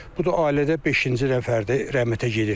Bu da ailədə beşinci dəfədir rəhmətə gedir.